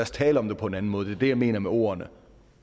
så tale om det på en anden måde det er det jeg mener med ordene